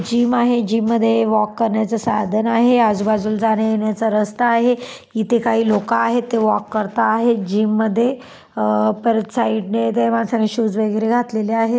Gym आहे gym मध्ये walk करण्याचं साधन आहे. आजूबाजूला जाण्यायेण्याचा रस्ता आहे. इथे काही लोक आहेत. ते वॉक करता आहेत. जिम मध्ये अ परत साईडने त्या माणसांनी शूज वगैरे घातलेले आहेत.